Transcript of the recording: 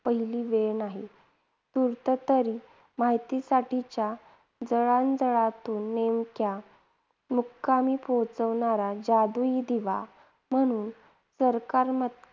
पहिली वेळ नाही. तूर्त तरी माहितीसाठीच्या जळांजळातुन नेमक्या मुक्कामी पोहचवणारा जादुई दिवा म्हणून सरकात्मक